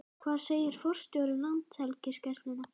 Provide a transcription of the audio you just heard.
Hvað segir forstjóri Landhelgisgæslunnar?